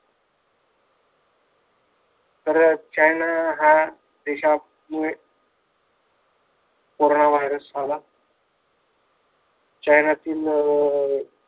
तर चायना हा देशांमुळे कोरोना virus आला. चायनातील अं